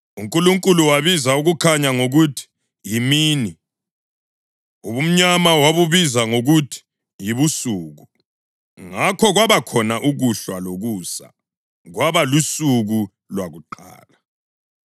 UNkulunkulu wabiza ukukhanya ngokuthi “yimini,” ubumnyama wabubiza ngokuthi “yibusuku.” Ngakho kwabakhona ukuhlwa lokusa, kwaba lusuku lwakuqala.